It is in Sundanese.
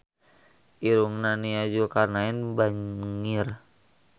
Irungna Nia Zulkarnaen bangir